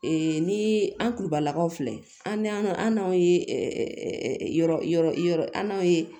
ni an kulubalakaw filɛ an n'anw ye yɔrɔ an'a ye